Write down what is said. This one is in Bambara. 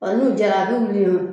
Ɔ nu jɛra a bu